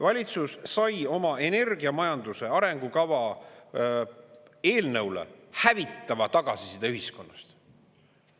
Valitsus sai oma energiamajanduse arengukava eelnõule hävitava tagasiside ühiskonnast.